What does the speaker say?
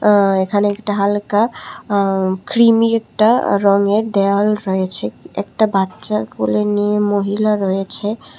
আ এখানে একটা হালকা কৃমি একটা রঙের দেওয়াল রয়েছে একটা বাচ্চা কোলে নিয়ে মহিলা রয়েছে।